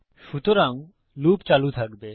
সুতরাং লুপ চালু থাকবে